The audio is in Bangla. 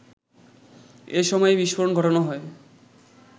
এসময়ই বিস্ফোরণ ঘটানো হয়